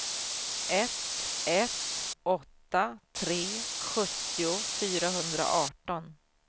ett ett åtta tre sjuttio fyrahundraarton